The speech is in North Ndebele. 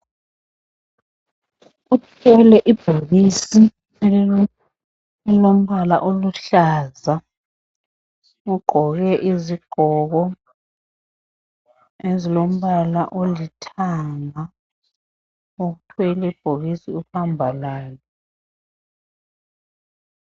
Uthwele ibhokisi elompala oluhlaza ugqoke izigqoko ezilompala olithanga uthwele ibhokisi uhamba lalo.